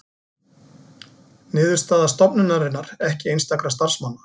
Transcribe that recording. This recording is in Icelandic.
Niðurstaða stofnunarinnar ekki einstakra starfsmanna